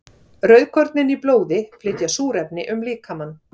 Rauðkornin í blóði flytja súrefni um líkamann.